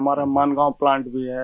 हमारा मानगाँव प्लान्ट भी है